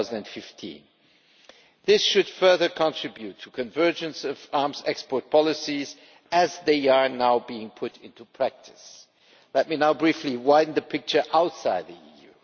2015. This should further contribute to convergence of arms export policies as they are now being put into practice. Let me now briefly widen the picture outside the EU.